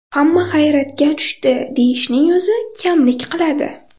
Hamma hayratga tushdi deyishning o‘zi kamlik qiladi.